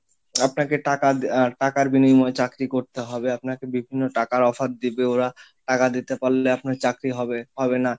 আপনাকে টাকা টাকার বিনিময়ে চাকরি করতে হবে আপনাকে বিভিন্ন টাকার Offer দিবে ওরা টাকা দিতে পারলে আপনার চাকরি হবে, হবে না,